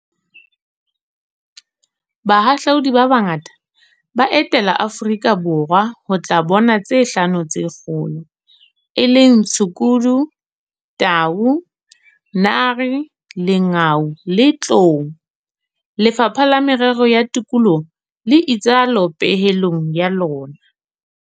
Bahahlaudi ba bangata ba etela Aforika Borwa ho tla bona tse Hlano tse Kgolo, e leng tshukudu, tau, nare, lengau le tlou. Lefapha la Merero ya Tikoloho le itsalo pehelong ya lona.